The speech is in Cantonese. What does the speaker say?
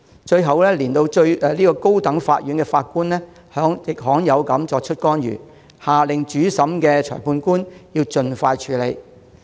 最後，連高等法院法官也罕有地作出干預，下令主審裁判官盡快處理。